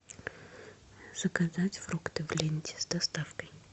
заказать фрукты в ленте с доставкой